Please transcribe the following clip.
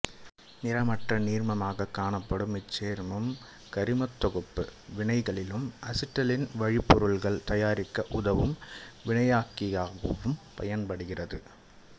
நிறமற்ற நீர்மமாகக் காணப்படும் இச்சேர்மம் கரிமத் தொகுப்பு வினைகளிலும் அசிட்டைலீன் வழிப்பொருள்கள் தயாரிக்க உதவும் வினையாக்கியாகவும் பயன்படுகிறது